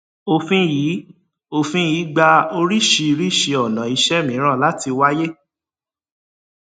òfin yìí òfin yìí gba oríṣiríṣi ona iṣẹ mìíràn láti wáyé